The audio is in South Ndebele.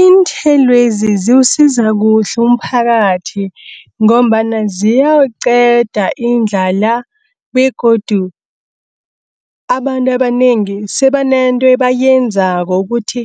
Iinthelwezi ziwusiza kuhle umphakathi, ngombana ziyawuqeda indlala, begodu abantu abanengi sebanento bayenzako ukuthi